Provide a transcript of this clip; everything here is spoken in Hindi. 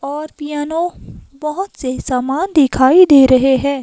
और पियानो बहोत से समान दिखाई दे रहे हैं।